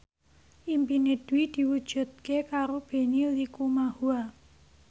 impine Dwi diwujudke karo Benny Likumahua